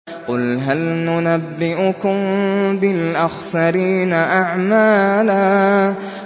قُلْ هَلْ نُنَبِّئُكُم بِالْأَخْسَرِينَ أَعْمَالًا